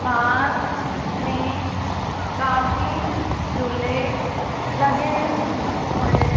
park में काफी जुल्ले लगे हुए--